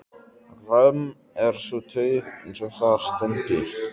Römm er sú taug, eins og þar stendur